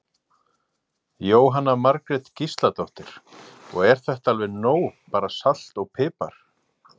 Jóhanna Margrét Gísladóttir: Og er þetta alveg nóg bara salt og pipar?